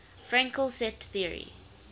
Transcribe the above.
fraenkel set theory